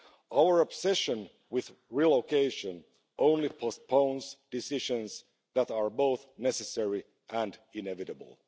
Our obsession with relocation only postpones decisions that are both necessary and inevitable.